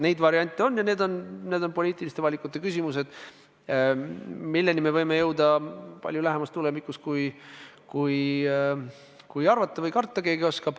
Neid variante on ja need on poliitiliste valikute küsimused, milleni me võime jõuda palju lähemas tulevikus, kui keegi arvata või karta oskab.